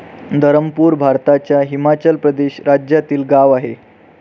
धरमपूर भारताच्या हिमाचल प्रदेश राज्यातील गाव आहे.